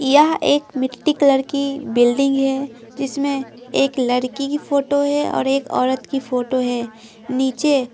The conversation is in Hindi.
यह एक मिट्टी कलर की बिल्डिंग है जिसमें एक लड़की की फोटो हैऔर एक औरत की फोटो है नीचे.--